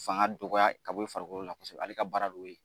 Fanga dɔgɔya ka bɔ i farikolo la kosɛbɛ ale ka baara de y'o ye.